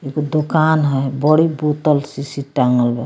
एगो दुकान हई बड़ी बोतल शीशी टाँगल बा।